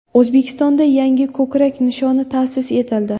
O‘zbekistonda yangi ko‘krak nishoni ta’sis etildi.